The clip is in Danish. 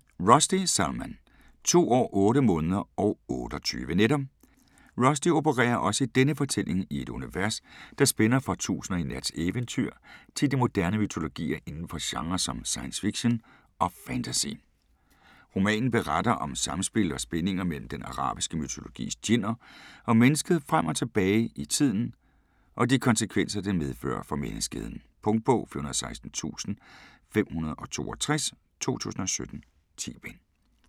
Rushdie, Salman: To år, otte måneder og otteogtyve nætter Rushdie opererer også i denne fortælling i et univers, der spænder fra 1001 Nats eventyr til de moderne mytologier inden for genrer som science fiction og fantasy. Romanen beretter om samspil og spændinger mellem den arabiske mytologis djinner og mennesket frem og tilbage i tiden, og de konsekvenser det medfører for menneskeheden. Punktbog 416562 2017. 10 bind.